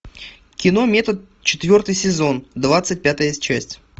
кино метод четвертый сезон двадцать пятая часть